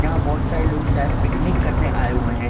यहाँ बहौत सारे लोग शायद पिकनिक करने आए हुए हैं।